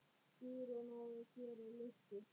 Guðrún: Og gerir lukku?